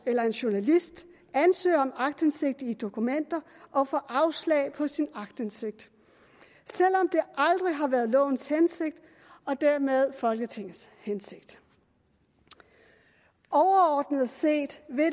eller en journalist ansøger om aktindsigt i dokumenter og får afslag på sin ansøgning aktindsigt selv om det aldrig har været lovens hensigt og dermed folketingets hensigt overordnet set vil